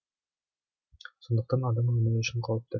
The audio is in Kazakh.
сондықтан адам өмірі үшін қауіпті